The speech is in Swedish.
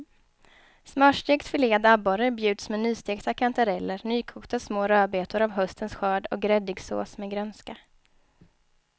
Smörstekt filead abborre bjuds med nystekta kantareller, nykokta små rödbetor av höstens skörd och gräddig sås med grönska.